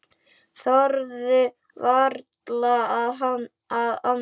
Þorðu varla að anda.